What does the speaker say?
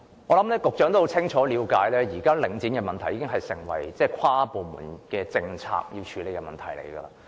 我相信局長清楚了解，領展的問題現時已成為需要跨部門處理的政策問題。